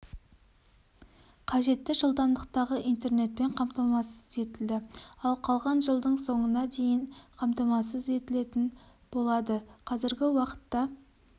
қажетті жылдамдықтағы интернетпен қамтамасыз етілді ал қалған жылдың соңына дейін қамтамасыз етілетін болады қазіргі уақытта